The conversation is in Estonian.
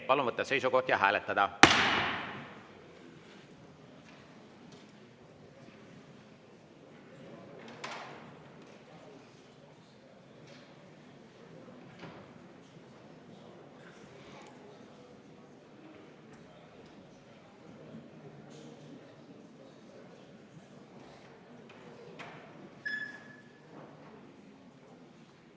Palun võtta seisukoht ja hääletada!